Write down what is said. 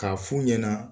K'a f'u ɲɛna